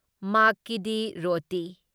ꯃꯥꯛꯀꯤ ꯗꯤ ꯔꯣꯇꯤ